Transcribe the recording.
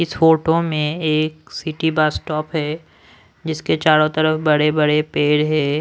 इस फोटो में एक सिटी बस स्टॉप है जिसके चारों तरफ बड़े बड़े पेड़ है।